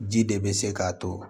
Ji de bɛ se k'a to